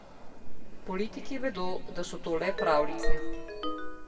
Politiki vedo, da so to le pravljice.